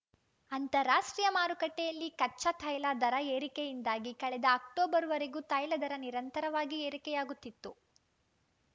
ಅಂತಾರಾಷ್ಟ್ರೀಯ ಮಾರುಕಟ್ಟೆಯಲ್ಲಿ ಕಚ್ಚಾ ತೈಲ ದರ ಏರಿಕೆಯಿಂದಾಗಿ ಕಳೆದ ಅಕ್ಟೋಬರ್‌ವರೆಗೂ ತೈಲದರ ನಿರಂತರವಾಗಿ ಏರಿಕೆಯಾಗುತ್ತಿತ್ತು